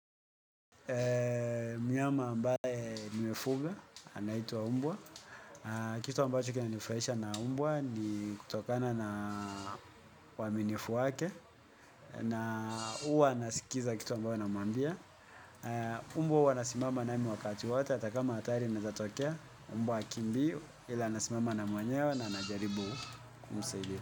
Mnyama ambaye nimefuga, anaitwa mbwa. Kitu ambacho kina nifurahisha na mbwa ni kutokana na uwaminifu wake. Na uwa anasikiza kitu ambayo namwambia. Mbwa huwa anasimama nami wakati wote hata kama hatari inaeza tokea mbwa hakimbiu ila anasimama na mwenyewe na anajaribu kumsaidia.